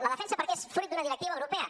la defensa perquè és fruit d’una directiva europea